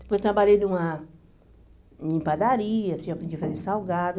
Depois trabalhei numa em padaria, tinha aprendi a fazer salgado.